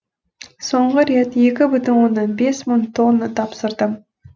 соңғы рет екі бүтін оннан бес мың тонна тапсырдым